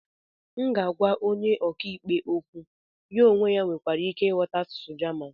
m ga-agwa onye ọka ikpe okwu, ya onwe ya nwekwara ike ịghọta asụsụ jaman